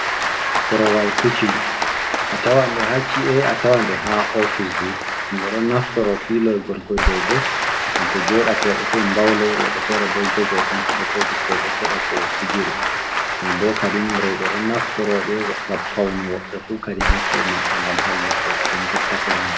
Korowal kuchin a tawande haci’e a tawande ha ofisji himɓe ɗon naftoro fi loy gorkoi dou ɗo bo gam to jodake woɓe fei mbaulo woɓe fere bo jogo tan ɗen bo ɓikoi bo keɓa ko fijire ɗon bo kadim rewɓe ɗon naftoroɗe gam paune woɓɓe fu kadi haci’e maɓɓe ngam hollugo ɓe jottake Maa.